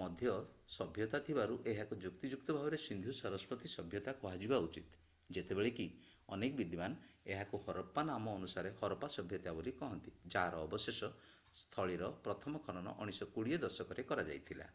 ମଧ୍ୟ ସଭ୍ୟତା ଥିବାରୁ ଏହାକୁ ଯୁକ୍ତିଯୁକ୍ତ ଭାବରେ ସିନ୍ଧୁ-ସରସ୍ୱତୀ ସଭ୍ୟତା କୁହାଯିବା ଉଚିତ ଯେତେବେଳେ କି କେତେକ ବିଦ୍ୱାନ ଏହାକୁ ହରପ୍ପା ନାମ ଅନୁସାରେ ହରପ୍ପା ସଭ୍ୟତା ବୋଲି କହନ୍ତି ଯାହାର ଅବଶେଷ ସ୍ଥଳୀର ପ୍ରଥମ ଖନନ 1920 ଦଶକରେ କରାଯାଇଥିଲା